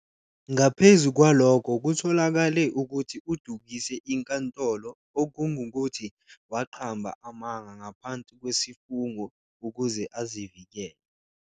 Ngaphezu kwalokho, kutholakale ukuthi udukise inkantolo - okungukuthi, waqamba amanga ngaphansi kwesifungo - ukuze azivikele.